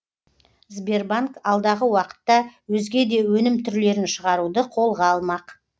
сбербанк алдағы уақытта өзге де өнім түрлерін шығаруды қолға алмақ